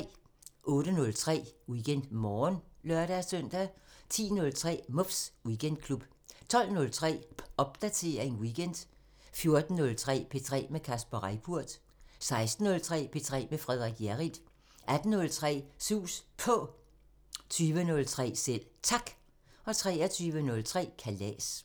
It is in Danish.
08:03: WeekendMorgen (lør-søn) 10:03: Muffs Weekendklub 12:03: Popdatering weekend 14:03: P3 med Kasper Reippurt 16:03: P3 med Frederik Hjerrild 18:03: Sus På 20:03: Selv Tak 23:03: Kalas